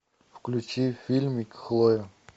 включи фильмик хлоя